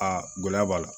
Aa gɛlɛya b'a la